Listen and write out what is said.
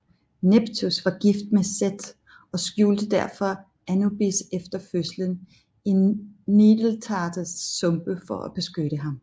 Nepthys var gift med Seth og skjulte derfor Anubis efter fødslen i Nildeltaets sumpe for at beskytte ham